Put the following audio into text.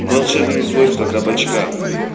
волшебные свойства кабачка